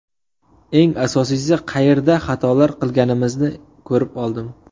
Eng asosiysi qayerda xatolar qilganimizni ko‘rib oldim.